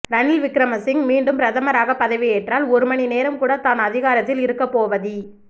ரணில் விக்ரமசிங்க மீண்டும் பிரதமராகப் பதவியேற்றால் ஒரு மணிநேரம் கூட தான் அதிகாரத்தில் இருக்கப் போவதி